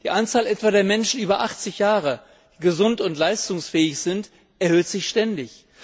Die Anzahl der Menschen über achtzig Jahre, die gesund und leistungsfähig sind, erhöht sich ständig.